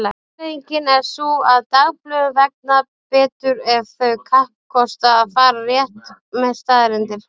Afleiðingin er sú að dagblöðum vegnar betur ef þau kappkosta að fara rétt með staðreyndir.